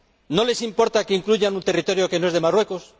¿No les importa que incluyan un territorio que no es de Marruecos?